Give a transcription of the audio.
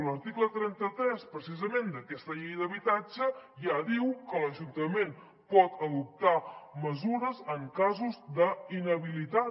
l’article trenta tres precisament d’aquesta llei d’habitatge ja diu que l’ajuntament pot adoptar mesures en casos d’inhabilitat